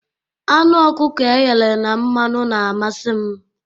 Anụ okuko eghere na mmanụ na-amasi m